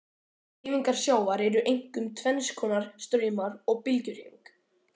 Hreyfingar sjávar eru einkum tvenns konar, straumar og bylgjuhreyfing.